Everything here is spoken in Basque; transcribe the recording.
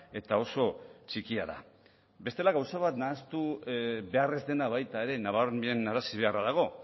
eta oso txikia da bestela gauza bat nahastu behar ez dena baita ere nabarmenarazi beharra dago